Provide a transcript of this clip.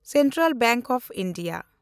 central bank of India